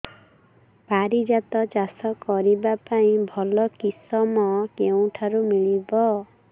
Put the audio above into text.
ପାରିଜାତ ଚାଷ କରିବା ପାଇଁ ଭଲ କିଶମ କେଉଁଠାରୁ ମିଳିବ